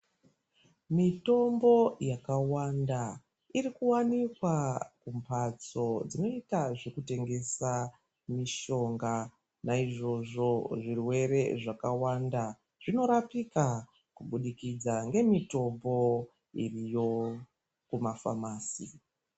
Mitombo yakawanda iri kuwanikwa mumbatso dzinoita zvekutengesa mushonga. Naizvozvo zvirwere zvakawanda zvinorapika kubudikidza ngemitombo iriyo kumafamasi.